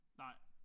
Nej